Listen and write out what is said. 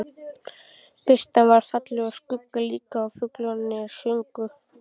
Birtan var falleg og skuggarnir líka og fuglarnir sungu.